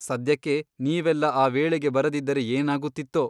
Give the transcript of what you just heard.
ಸದ್ಯಕ್ಕೆ ನೀವೆಲ್ಲ ಆ ವೇಳೆಗೆ ಬರದಿದ್ದರೆ ಏನಾಗುತ್ತಿತ್ತೋ ?